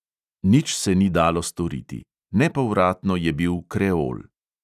Nič se ni dalo storiti: nepovratno je bil kreol.